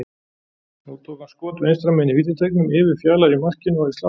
Nú tók hann skot vinstra megin í vítateignum, yfir Fjalar í markinu og í slána.